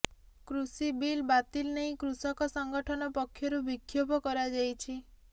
କୃଷି ବିଲ୍ ବାତିଲ ନେଇ କୃଷକ ସଂଗଠନ ପକ୍ଷରୁ ବିକ୍ଷୋଭ କରାଯାଇଛି